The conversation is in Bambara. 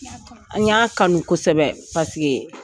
N y'a kanu kosɛbɛ